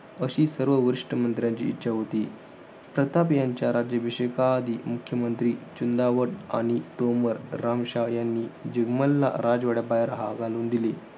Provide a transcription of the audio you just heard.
अशी सर्व वरिष्ठ मंत्र्यांची इच्छा होती. तथापि, यांचा राज्याभिषेका आधी मुख्यमंत्री चुंदावड आणि तोमवर रामशा यांनी, जीग्मलला राजवाड्याबाहेर हा~ घालावून दिले.